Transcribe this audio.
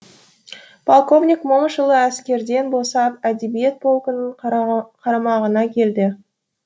полковник момышұлы әскерден босап әдебиет полкының қарамағына келді